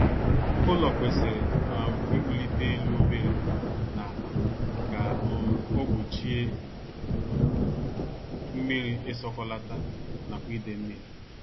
Ụlọ kwesịrị um iwulite elu obere n' ala ka um o gbochie mmiri isọkọlata nakwa ide mmiri